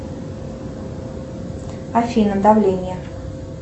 афина давление